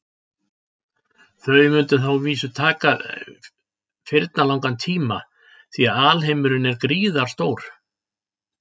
Þau mundu þá að vísu taka firnalangan tíma því að alheimurinn er gríðarstór.